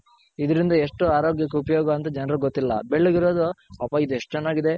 ಹಾ ಇದ್ರಿಂದ ಎಷ್ಟು ಆರೋಗ್ಯಕ್ ಉಪಯೋಗ ಅಂತ ಜನ್ರ್ಗ್ ಗೊತ್ತಿಲ್ಲ ಬೆಳ್ಳಗ್ ಇರೋದು ಅಪ್ಪ ಇದ್ ಎಷ್ಟ್ ಚೆನ್ನಾಗಿದೆ.